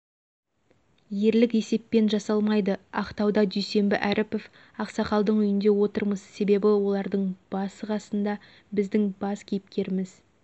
ерлік есеппен жасалмайды ақтауда дүйсенбі әріпов ақсақалдың үйінде отырмыз себебі олардың басы қасында біздің бас кейіпкерміз